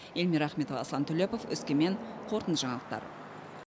эльмира ахметова аслан төлепов өскемен қорытынды жаңалықтар